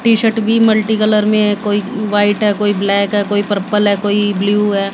T shirt भी multicolour में कोई व्हाईट है कोई ब्लैक है कोई पर्पल हैं कोई ब्ल्यू है।